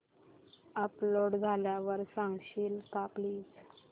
upload झाल्यावर सांगशील का प्लीज